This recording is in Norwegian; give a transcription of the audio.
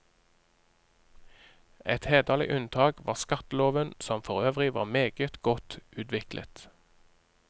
Et hederlig unntak var skatteloven, som forøvrig var meget godt utviklet.